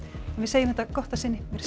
en við segjum þetta gott að sinni veriði sæl